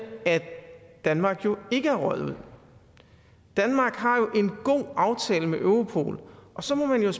at danmark ikke er røget ud danmark har jo en god aftale med europol så må man